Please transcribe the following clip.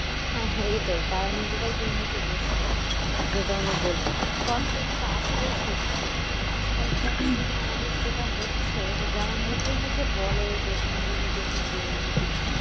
হ্যাঁ হ্যাঁ এটাই। তারা নিজেরাই দুর্নীতিগ্রস্ত। যেটা উনি বললেন। কথাটা কিন্তু আসলেই সত্যি। আজকালকার দিনে আমাদের যেটা হচ্ছে, যে যারা মুখে মুখে বলে যে এখানে দুর্নীতি ওখানে দুর্নীতি